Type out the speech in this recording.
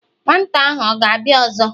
Nwata ahu ọ̀ gābia ọzọ?